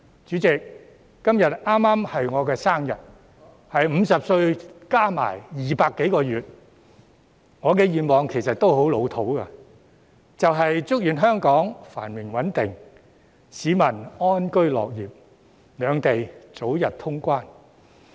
主席，今天剛好是我的生日——是50歲加上200多個月——我的願望其實亦十分老套，就是祝願香港繁榮穩定，市民安居樂業，兩地早日通關。